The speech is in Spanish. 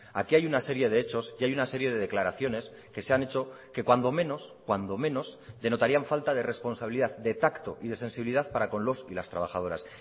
aquí hay una serie de hechos y hay una serie de declaraciones que se han hecho que cuando menos cuando menos denotarían falta de responsabilidad de tacto y de sensibilidad para con los y las trabajadoras